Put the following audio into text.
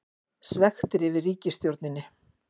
Svekktir yfir ríkisstjórninni